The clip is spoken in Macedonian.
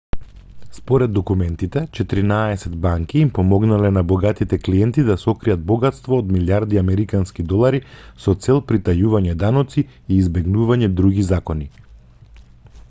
според документите четиринаесет банки им помогнале на богатите клиенти да сокријат богатство од милијарди американски долари со цел притајување даноци и избегнување други закони